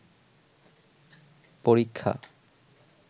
পরীক্ষা